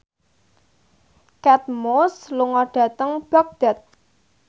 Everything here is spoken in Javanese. Kate Moss lunga dhateng Baghdad